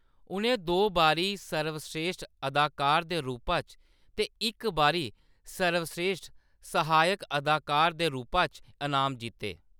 उʼनें दो बारी सर्वस्रेश्ठ अदाकार दे रूपा च ते इक बारी सर्वस्रेश्ठ सहायक अदाकार दे रूपा च इनाम जित्ते।